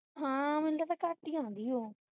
ਹਾਂ ਮੈਨੂੰ ਲਗਦਾ ਘਟ ਹੀ ਆਉਂਦੀ ਹੈ ਉਹ